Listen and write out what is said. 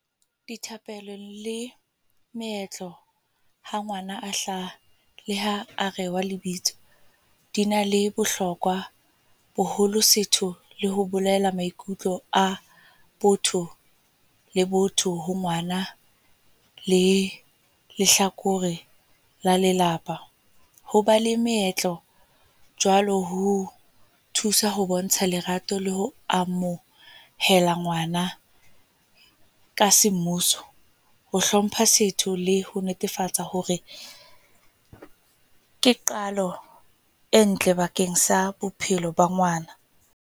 Dithapelo le meetlo ha ngwana a hlaha. Le ha a rewa lebitso. Di na le bohlokwa boholo, setho le ho bolela maikutlo a botho le botho ho ngwana le lehlakore la lelapa. Hoba le meetlo jwalo ho thusa ho bontsha lerato la ho amohela ngwana, ka semmuso. Ho hlompha setso le ho netefatsa hore ke qalo e ntle bakeng sa bophelo ba ngwana.